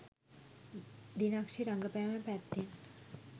දිනක්ෂි රඟපෑම පැත්තෙන්